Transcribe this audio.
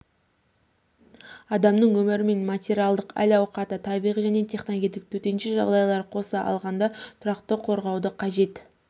адамның өмірі мен материалдық әл-ауқаты табиғи және техногендік төтенше жағдайларды қоса алғанда тұрақты қорғауды қажет